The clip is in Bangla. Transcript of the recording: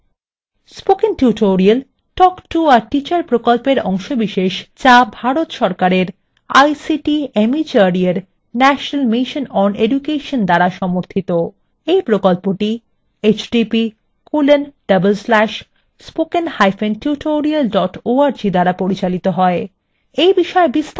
spoken tutorial talk to a teacher প্রকল্পের অংশবিশেষ যা ভারত সরকারের ict mhrd এর national mission on education দ্বারা সমর্থিত এই প্রকল্পটি